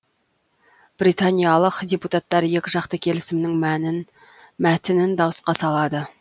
британиялық депутаттар екі жақты келісімнің мәтінін дауысқа салады